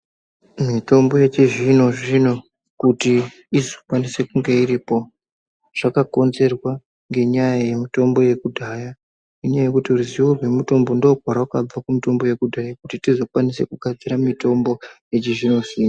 Mitombo yechi zvino zvino kuti izo kwanise kunge iripo zvaka konzerwa ngenya ye mutombo yekudhaya inyaya yekuti ruzivo rwe mutombo ndo kwarakabva ku mutombo kuti tizo kwanise kugadzira mutombo yechi zvino zvino.